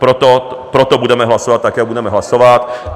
Proto budeme hlasovat tak, jak budeme hlasovat.